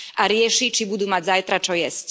A rieši, či budú mať zajtra čo jesť.